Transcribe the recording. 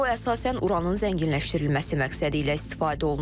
O əsasən uranın zənginləşdirilməsi məqsədilə istifadə olunur.